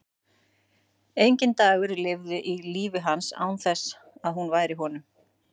Enginn dagur liði í lífi hans án þess að hún væri í honum.